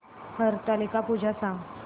हरतालिका पूजा सांग